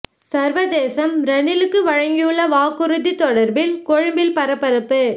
சர்வதேசம் ரணிலுக்கு வழங்கியுள்ள வாக்குறுதி தொடர்பில் கொழும்பில் பரபரப்பு